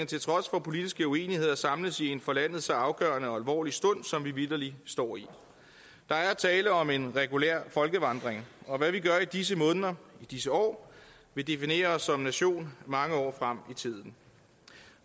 til trods for politiske uenigheder samles i en for landet så afgørende og alvorlig stund som vi vitterlig står i der er tale om en regulær folkevandring og hvad vi gør i disse måneder i disse år vil definere os som nation mange år frem i tiden